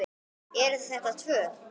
Eða eru þetta tvö?